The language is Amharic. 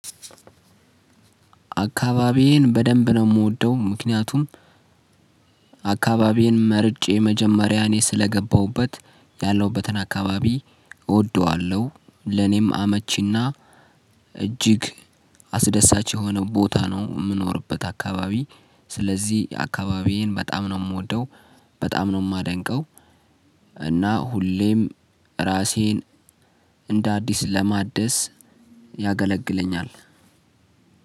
አካባቢዬን በደንብ ነው የምወደው ምክንያቱም አካባቢዬን መርጬ መጀመሪያ እኔ ስለገባሁበት ያለሁበትን አካባቢ እወደዋለሁ ለኔም አመቺና እጅግ አስደሳች የሆነው ቦታ ነው የምኖርበት አካባቢ። ስለዚህ አካባቢዬን በጣም ነው የምወደው በጣም ነው የማደንቀው። እና ሁሌም ራሴን እንደ አዲስ ለማደስ ያገለግለኛል።